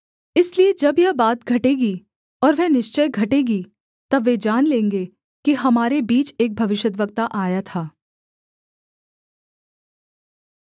इसलिए जब यह बात घटेगी और वह निश्चय घटेगी तब वे जान लेंगे कि हमारे बीच एक भविष्यद्वक्ता आया था